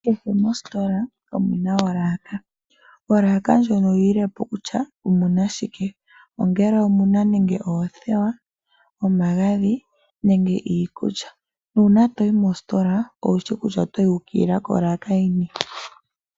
Kehe mositola omuna olaka . Olaka ndjono oyililepo kutya omuna shike, ongele omuna nande oothewa , omagadhi niikulya nuuna toyi moositola owushi kutya oto yi wuukilila kolaka yini.